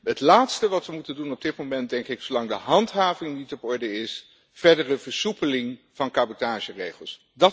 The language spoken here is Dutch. Het laatste wat we moeten doen op dit moment is, denk ik, zolang de handhaving niet op orde is, verdere versoepeling van cabotageregels.